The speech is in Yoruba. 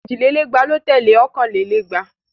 Èjì lé lẹ́gbàá ló tẹ̀lé ọ̀kàn lé lẹ́gbàá.